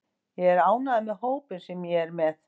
Ég er ánægður með hópinn sem ég er með.